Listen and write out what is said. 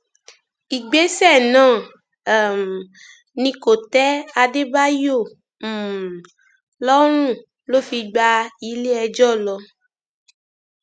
ìgbésẹ náà um ni kò tẹ adébáyò um lọrùn ló fi gbá iléẹjọ lọ